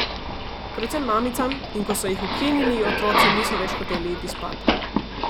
Predvsem mamicam, in ko so jih ukinili, otroci niso več hoteli iti spat.